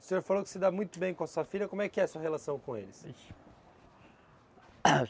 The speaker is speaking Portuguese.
O senhor falou que se dá muito bem com a sua filha, como é que é a sua relação com eles?